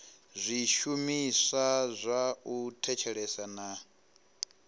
zwishumiswa zwa u thetshelesa na